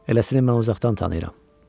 Eləsini mən uzaqdan tanıyıram.